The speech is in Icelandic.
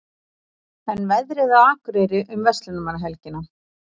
en veðrið á akureyri um verslunarmannahelgina